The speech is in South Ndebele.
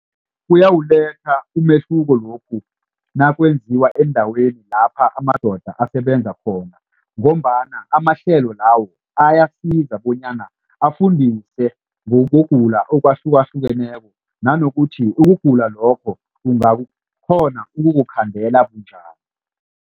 Kuyawuletha umehluko lokhu nakwenziwa endaweni lapha amadoda asebenza khona. Ngombana amahlelo lawo ayasiza bonyana afundise ngokugula akwahlukahlukeneko nanokuthi ukugula lokho ukukhandela bunjani.